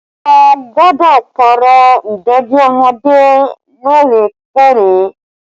A gbọ́dọ̀ Pààrọ̀ ìdèdí ọmọdé lóòrè kóòrè